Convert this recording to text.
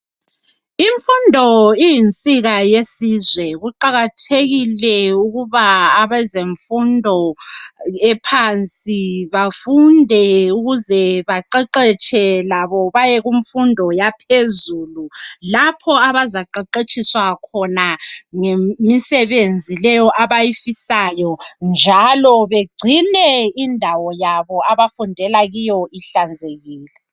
Imfundo iyinsika yesizwe kuqakathekile ukuba abezemfundo ephansi bafunde ukuze baqeqetshe labo baye kumfundo yaphezulu lapho abazaqeqetshiswa khona ngemisebenzi leyo abayifisayo, njalo begcine indawo abafundela kiyo ihlanzekile.